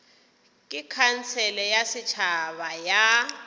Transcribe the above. ke khansele ya setšhaba ya